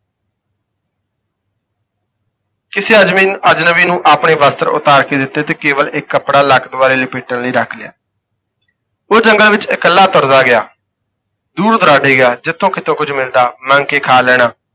ਕਿਸੇ ਅਜ਼ਬੀ ਨੂੰ ਅਜ਼ਨਬੀ ਨੂੰ ਆਪਣੇ ਵਸਤਰ ਉਤਾਰ ਕੇ ਦਿੱਤੇ ਤੇ ਕੇਵਲ ਇੱਕ ਕੱਪੜਾ ਲੱਕ ਦੁਆਲੇ ਲਪੇਟਣ ਲਈ ਰੱਖ ਲਿਆ। ਉਹ ਜੰਗਲ ਵਿੱਚ ਇਕੱਲਾ ਤੁਰਦਾ ਗਿਆ, ਦੂਰ ਦੁਰਾਡੇ ਗਿਆ ਜਿੱਥੋਂ ਕਿੱਤੋਂ ਕੁੱਝ ਮਿਲਦਾ ਮੰਗ ਕੇ ਖਾ ਲੈਣਾ।